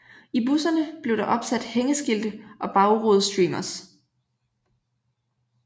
I busserne blev der opsat hængeskilte og bagrudestreamers